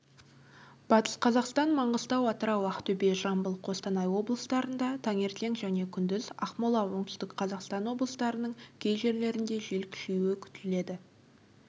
батыс қазақстан маңғыстау атырау ақтөбе жамбыл қостанай облыстарында таңертең және күндіз ақмола оңтүстік қазақстан облыстарының кей жерлерінде жел күшеюі күтіледі